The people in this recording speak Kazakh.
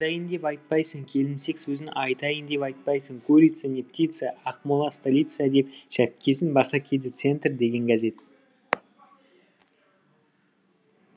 айтайын деп айтпайсың келімсек сөзін айтайын деп айтпайсың курица не птица акмола столица деп шәпкесін баса киді центр деген газет